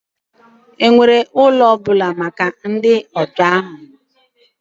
Ọ nwere ụlọ ọ bụla maka ndị ọbịa ahụ?